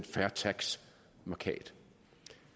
fair tax mærkat